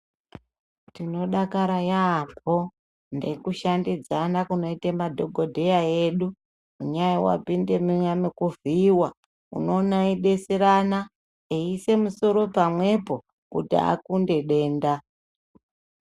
Tinodakara yambo ndekushandidzana kunoita madhokodheya edu ngenyaya yewapinda muya mekuvhiyiwa unoona eidetserana eise musoro pamwepo kuti akunde denda.